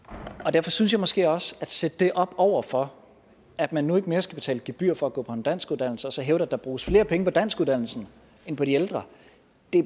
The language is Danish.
derfor synes jeg måske også at at sætte det op over for at man nu ikke mere skal betale gebyr for at gå på en danskuddannelse og så hævde at der bruges flere penge på danskuddannelsen end på de ældre